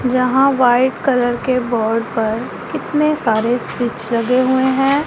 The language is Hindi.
यहां व्हाइट कलर के बोर्ड पर कितने सारे स्विच लगे हुए हैं।